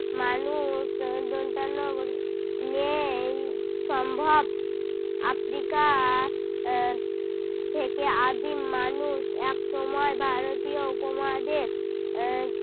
মানুষ উহ দন্তেন ন বর্গে নেই সম্ভব। আফ্রিকা আহ থেকে আদিম মানুষ একসময় ভারতীয় উপমহাদেশ আহ